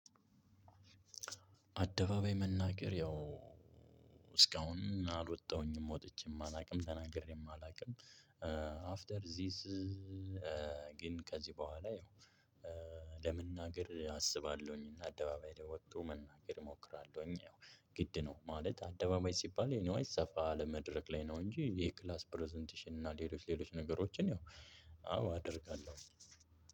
አደባባይ መናገር ያው እስካሁን አልወጣሁኝም ወጥቼ አላውቅም ተናግሬም አላውቅም። አፍተር ዚስ። ግን ከዚህ በኋላ ያው ለመናገር አስባለሁኝ እና አደባባይ ለወጡ መናገር እሞክራለሁኝ። ያው ግድ ነው ማለት አደባባይ ሲባል ኤኒዋይስ ሰፋ ያለ መድረክ ላይ ነው። እንጂ የክላስ ፕረዘንቴሽን እና ሌሎች ሌሎች ነገሮችን አው አደርጋለሁ።